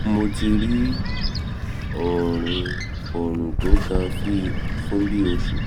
mo ti ní ọrùn ọrùn tó gan fún bí i oṣù kan